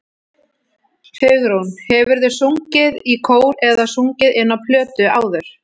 Hugrún: Hefurðu sungið í kór eða sungið inn á plötu áður?